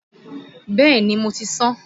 Bẹ́ẹ̀ni mo ti sán